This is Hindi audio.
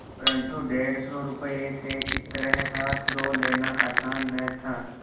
परन्तु डेढ़ सौ रुपये से इस तरह हाथ धो लेना आसान न था